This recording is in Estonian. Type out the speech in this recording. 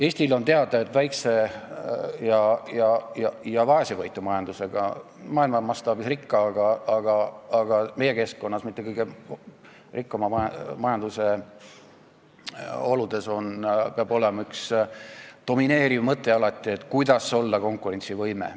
Eestile on teada, et väikese ja vaesevõitu majanduse, maailma mastaabis rikka, aga meie keskkonnas mitte kõige rikkama majanduse oludes peab alati olema üks domineeriv mõte, kuidas olla konkurentsivõimeline.